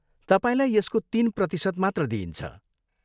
तपाईँलाई यसको तिन प्रतिशत मात्र दिइन्छ।